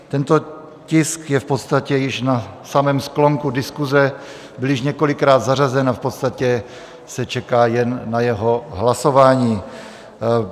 Tento tisk je v podstatě již na samém sklonku diskuse, byl již několikrát zařazen a v podstatě se čeká jen na jeho hlasování.